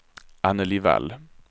Annelie Wall